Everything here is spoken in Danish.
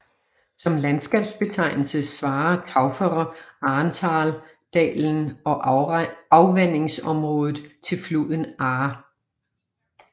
Som landskabsbetegnelse svarer Tauferer Ahrntal dalen og afvandingsområdet til floden Ahr